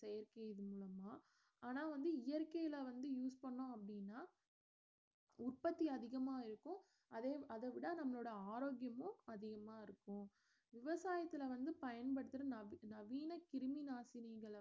செயற்கை மூலமா ஆனா வந்து இயற்கைல வந்து use பண்ணோம் அப்படினா உற்பத்தி அதிகமா இருக்கும் அதே அத விட நம்மளோட ஆரோக்கியமும் அதிகமா இருக்கும் விவசாயத்துல வந்து பயன்படுத்துற நவீ~ நவீன கிருமி நாசினிகள